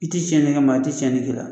I tɛ cɛnni kɛ maa tɛ cɛnni k'i la